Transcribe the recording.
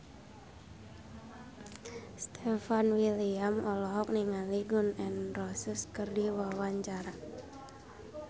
Stefan William olohok ningali Gun N Roses keur diwawancara